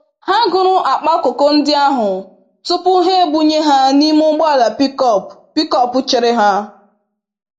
Ha gụrụ akpa koko ndị ahụ tupu ha ebunye ha n'ime ụgbọala pickup pickup chere ha.